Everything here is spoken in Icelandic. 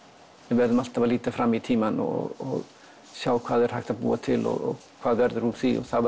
við verðum alltaf að líta fram í tímann og sjá hvað hægt er að búa til og hvað verður úr því og þá